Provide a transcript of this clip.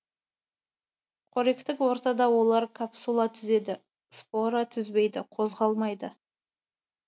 қоректік ортада олар капсула түзеді спора түзбейді қозғалмайды